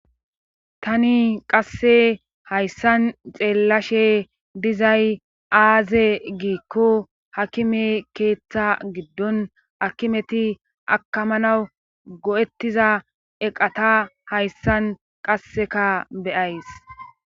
tani qasse hayssan xeellashe dizay aaze giikko hakime keeththa giddon akimeti akamanaw go7ettiza eqata hayssan qasseka beyays